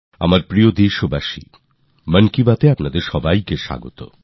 মার প্রিয় দেশবাসী মনের কথায় আপনাকে স্বাগত